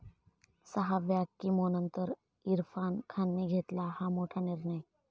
सहाव्या कीमोनंतर इरफान खानने घेतला हा मोठा निर्णय